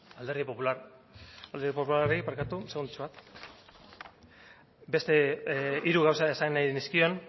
alderdi popular alderdi popularrari barkatu segundotxo bat beste hiru gauza esan nahi dizkien